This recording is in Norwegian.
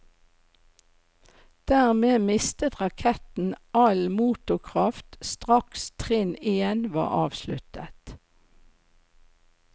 Dermed mistet raketten all motorkraft straks trinn én var avsluttet.